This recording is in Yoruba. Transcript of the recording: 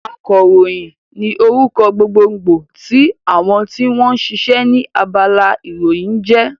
Akàròyìn ní orúkọ gbogbo gbò tí àwọn tí wọ́n sisẹ́ ní abala ìròyìn ń jẹ́